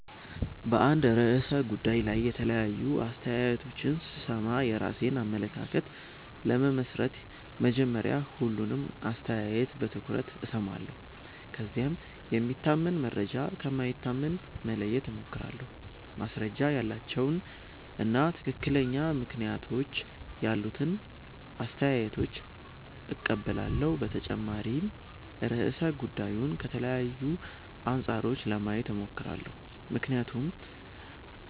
በአንድ ርዕሰ ጉዳይ ላይ የተለያዩ አስተያየቶችን ሲሰማ የራሴን አመለካከት ለመመስረት መጀመሪያ ሁሉንም አስተያየት በትኩረት እሰማለሁ። ከዚያም የሚታመን መረጃ ከማይታመን መለየት እሞክራለሁ፣ ማስረጃ ያላቸውን እና ትክክለኛ ምክንያቶች ያሉትን አስተያየቶች እቀበላለሁ። በተጨማሪም ርዕሰ ጉዳዩን ከተለያዩ አንጻሮች ለማየት እሞክራለሁ፣ ምክንያቱም